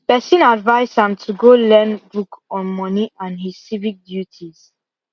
person advice am to go learn book on money and his civic duties